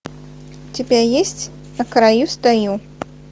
у тебя есть на краю стою